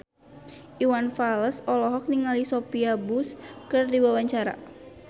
Iwan Fals olohok ningali Sophia Bush keur diwawancara